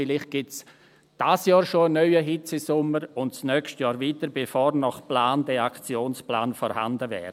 Vielleicht gibt es in diesem Jahr schon einen neuen Hitzesommer und nächstes Jahr wieder, bevor dieser Aktionsplan nach Plan vorhanden wäre.